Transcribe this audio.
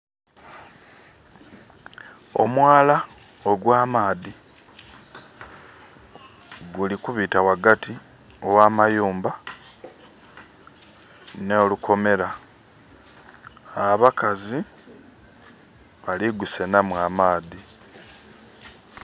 Omwala ogwa maadhi guli kubita ghagati ogha mayumba nho lukomera, abakazi bali gusenhamu amaadhi.